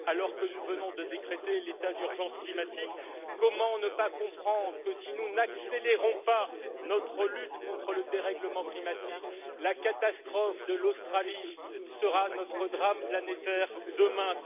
Alors que nous venons de décréter l'état d'urgence climatique, comment ne pas comprendre que si nous n'accélérons pas notre lutte contre le dérèglement climatique, la catastrophe de l'Australie sera notre drame planétaire demain.